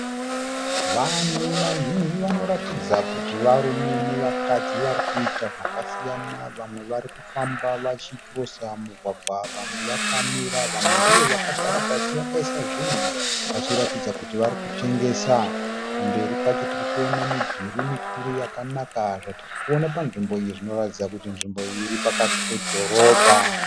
Vanhu vazhinji vanoratidza kuti varume navakadzi vari kuita zvakasiyana. Vamwe vari kufamba vachikirosa mugwagwa, vamwe vakamira, vamwe ndivo vakagara pasi vakaisa zvinhu vachiratidza kuti vari kutengesa. Kumberi kwacho tiri kuona midhuri mikuru yakanaka. Zvatiri kuona panzvimbo iyi zvinoratidza kuti nzvimbo iyi iri pakati pedhorobha.